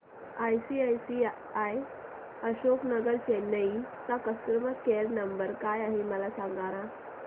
ICICI Ashok Nagar Chennai चा customer care number काय आहे मला सांगाना